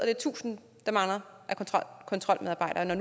er tusind kontrolmedarbejdere der